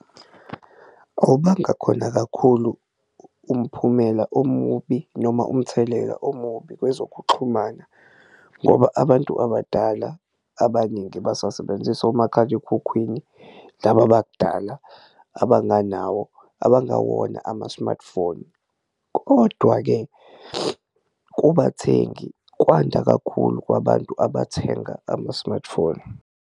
Awubanga khona kakhulu umphumela omubi noma umthelela omubi kwezokuxhumana ngoba abantu abadala abaningi basasebenzisa omakhalekhukhwini laba abadala abanganawo abangawona ama-smartphone. Kodwa-ke kubathengi kwanda kakhulu kwabantu abathenga ama-smartphone.